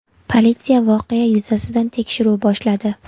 Politsiya voqea yuzasidan tekshiruv boshladi.